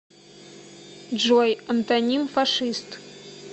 джой антоним фашист